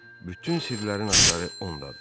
Bütün sirlərin açarı ondadır.